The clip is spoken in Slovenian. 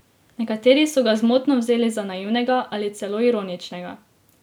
Nekateri so ga zmotno vzeli za naivnega ali celo ironičnega.